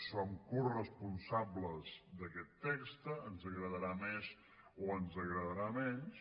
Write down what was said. som coresponsables d’aquest text ens agradarà més o ens agradarà menys